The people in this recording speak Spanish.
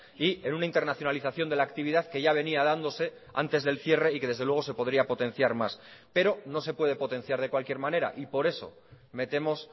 y en una internacionalización de la actividad que ya venía dándose antes del cierre y que desde luego se podría potenciar más pero no se puede potenciar de cualquier manera y por eso metemos